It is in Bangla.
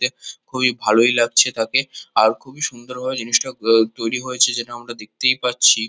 এই খুবই ভালোই লাগছে তাকে । আর খুবই সুন্দরভাবে জিনিসটাকে উম তৈরী হয়েছে যেটা আমরা দেখতেই পাচ্ছি ।